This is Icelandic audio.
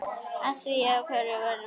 Af hverju er ég veikur?